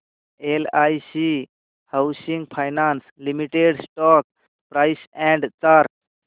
LIC housing finance limited stock price and chart